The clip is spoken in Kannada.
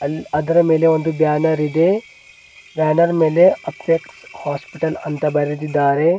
ಅದರ ಮೇಲೆ ಒಂದು ಬ್ಯಾನರ್ ಇದೆ ಬ್ಯಾನರ್ ಮೇಲೆ ಅಪೆಕ್ಸ್ ಹಾಸ್ಪಿಟಲ್ ಅಂತ ಬರೆದಿದ್ದಾರೆ.